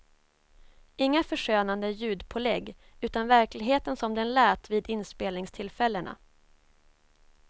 Inga förskönande ljudpålägg, utan verkligheten som den lät vid inspelningstillfällena.